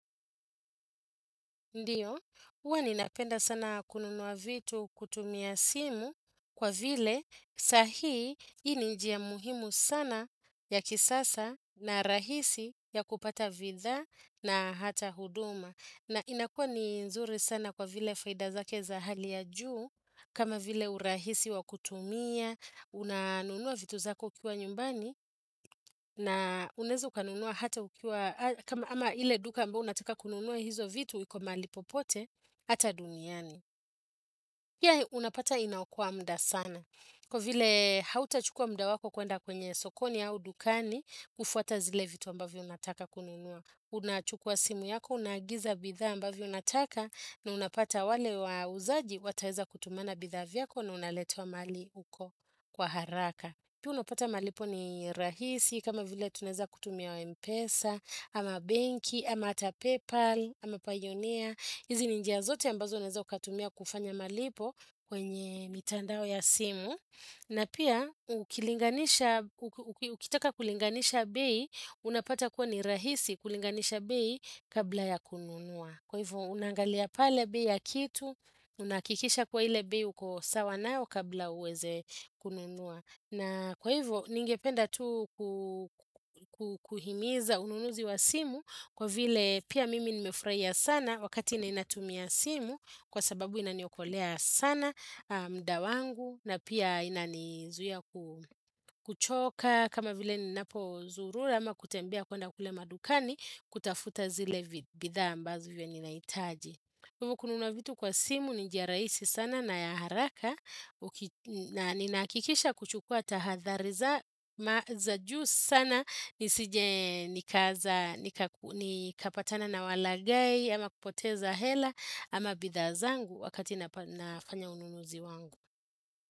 Ndiyo, huwa ninapenda sana kununua vitu kutumia simu kwa vile sahii hii ni njia muhimu sana ya kisasa na rahisi ya kupata bidhaa na hata huduma. Na inakua ni nzuri sana kwa vile faida zake za hali ya juu, kama vile urahisi wa kutumia, unanunua vitu zako ukiwa nyumbani, na unaeza ukanunua hata ukiwa, ama ile duka ambayo unataka kununua hizo vitu, iko mahali popote, hata duniani. Ya unapata inaokoa muda sana. Kwa vile hautachukua muda wako kuenda kwenye sokoni au dukani, kufuata zile vitu ambavyo unataka kununua. Unachukua simu yako, unaagiza bidhaa ambavyo unataka na unapata wale wauzaji wataeza kutumana bidhaa viyako na unaletewa mahali huko kwa haraka. Pia unapata malipo ni rahisi kama vile tunaeza kutumia Mpesa, ama benki, ama hata Paypal, ama Payoneer. Hizi ni njia zote ambazo unaeza ukatumia kufanya malipo kwenye mitandao ya simu. Na pia ukitaka kulinganisha bei, unapata kuwa ni rahisi kulinganisha bei kabla ya kununua. Kwa hivyo unaangalia pale bei ya kitu, unahakikisha kuwa ile bei uko sawa nayo kabla uweze kununua. Na kwa hivyo ningependa tu kuhimiza ununuzi wa simu kwa vile pia mimi nimefurahia sana wakati ninatumia simu kwa sababu inaniokolea sana muda wangu na pia inanizuhia kuchoka kama vile ninapozurura ama kutembea kwenda kule madukani kutafuta zile bidhaa ambazo venye nahitaji. Hivo kununua vitu kwa simu ni njia rahisi sana na ya haraka na ninahakikisha kuchukua tahadhari za juu sana ni kapatana na walaghai ama kupoteza hela ama bidhaa zangu wakati nafanya ununuzi wangu.